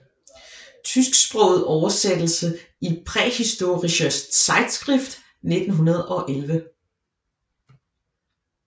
Tysksproget oversættelse i Prähistorische Zeitschrift 1911